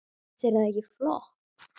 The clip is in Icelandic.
Finnst þér það ekki flott?